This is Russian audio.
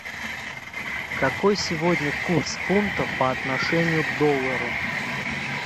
какой сегодня курс фунта по отношению к доллару